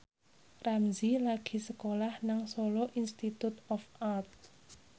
Ramzy lagi sekolah nang Solo Institute of Art